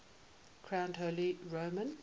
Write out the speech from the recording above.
crowned holy roman